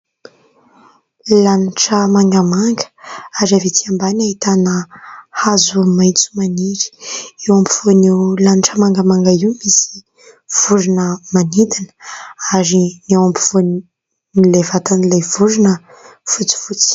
Lanitra mangamanga ary avy etsy ambany ahitana hazo maitso maniry, eo ampovoan' io lanitra mangamanga io misy vorona manidina ary ny eo ampovoan'ilay vatan'ilay vorona fotsifotsy.